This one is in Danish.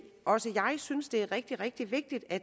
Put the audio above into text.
synes at det er rigtig rigtig vigtigt at